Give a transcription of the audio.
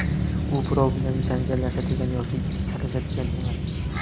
U birov bilan janjallashadigan yoki talashadigan emas.